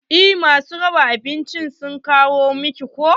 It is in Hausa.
Eh ma su raba abinci sun kawo min ko.